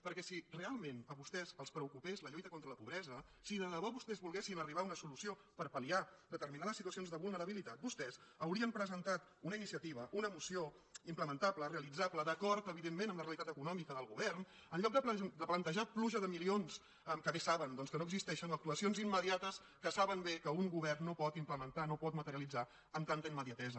perquè si realment a vostès els preo·cupés la lluita contra la pobresa si de debò vostès vol·guessin arribar a una solució per palsituacions de vulnerabilitat vostès haurien presentat una iniciativa una moció implementable realitzable d’acord evidentment amb la realitat econòmica del govern en lloc de plantejar pluja de milions que bé saben doncs que no existeixen o actuacions imme·diates que saben bé que un govern no pot implemen·tar no pot materialitzar amb tanta immediatesa